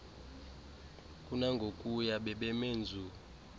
kunangokuya bebeme nzu